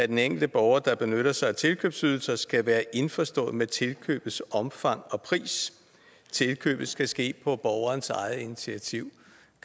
den enkelte borger der benytter sig af tilkøbsydelser skal være indforstået med tilkøbets omfang og pris tilkøbet skal ske på borgerens eget initiativ